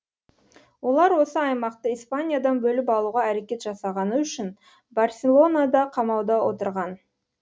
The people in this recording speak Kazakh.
олар осы аймақты испаниядан бөліп алуға әрекет жасағаны үшін барселонада қамауда отырған